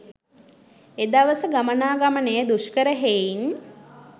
එදවස ගමනා ගමනය දුෂ්කර හෙයින්